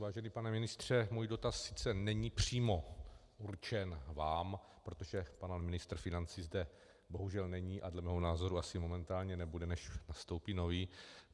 Vážený pane ministře, můj dotaz sice není přímo určen vám, protože pan ministr financí zde bohužel není a dle mého názoru asi momentálně nebude, než nastoupí nový.